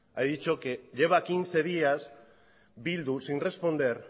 ha dicho que lleva quince días bildu sin responder